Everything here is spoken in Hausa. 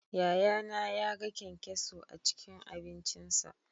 Yayana yaga kyankyaso a cikin abincinsa